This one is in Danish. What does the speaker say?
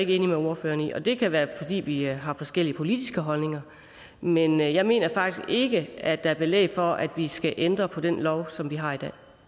enig med ordføreren i og det kan være fordi vi har forskellige politiske holdninger men jeg mener faktisk ikke at der er belæg for at der skal ændres på den lov som vi har i